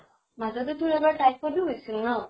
মাজতে তোৰ এবাৰ typhoid ও হৈছিল ন?